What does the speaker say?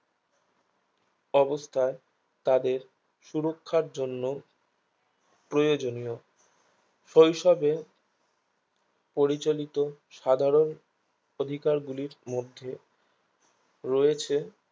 অবস্থায় তাদের সুরক্ষার জন্য প্রয়োজনীয় শৈশবে পরিচালিত সাধারণ অধিকার গুলির মধ্যে রয়েছে